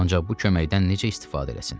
Ancaq bu köməkdən necə istifadə eləsin?